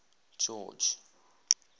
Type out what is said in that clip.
george